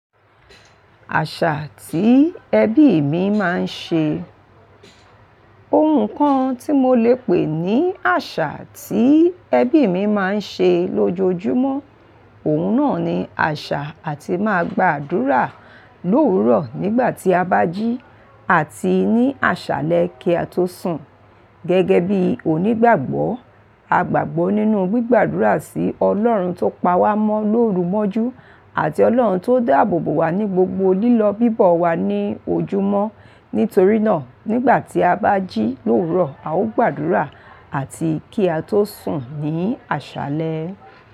Àṣà tí ẹbí mi máa ń ṣe. Ohun kan tí mo lè pè ní àṣà tí ẹbí mi máa ń ṣe lójoojúmọ́, òun náà ni àṣà àti máa gba àdúrà lówuro nígbà tí a bá jí àti ní àṣálẹ́ kí a tó sùn. Gẹ́gẹ́ bí onígbàgbọ́, a gbàgbọ́ nínú gbígbàdúrà sí Ọlọ́run tó pa wá mọ́ lóru mọ́jú àti Ọlọ́run tó dáàbò bò wá ní gbogbo lílọ bíbọ̀ wa ní ojúmọ́. Nítorí náà, nígbà tí a bá jí lówuro, a ó gbàdúrà àti kí a tó sùn ní àṣálẹ́